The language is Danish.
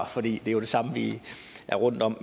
for det er jo det samme vi er rundt om